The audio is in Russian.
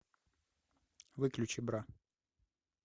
выключи бра